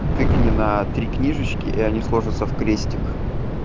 тыкни на три книжечки и они сложатся в крестик